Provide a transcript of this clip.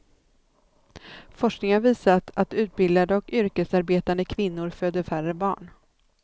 Forskning har visat att utbildade och yrkesarbetande kvinnor föder färre barn.